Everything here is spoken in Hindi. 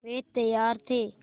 वे तैयार थे